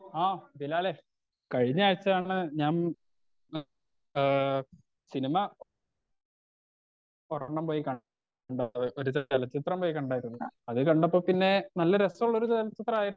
ആ ബിലാലെ കഴിഞ്ഞ ആഴ്ച ഞങ്ങൾ ഞാൻ മെ ഏഹ് സിനിമ ഒരണ്ണം പോയി കണ്ടു ഒരു ചെലചിത്രം പോയി കണ്ടായിരുന്നു അത് കണ്ടപ്പോ പിന്നെ നല്ല രസുള്ളൊരു ചെലചിത്രായി